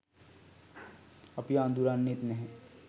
අපිව අඳුරන්නෙත් නැහැ